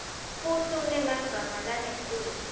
futsi unemagama langetulu